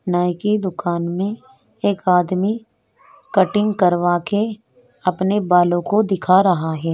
नाई की दूकान में एक आदमी कट्टिंग करवा के अपने बालो को दिखा रहा है।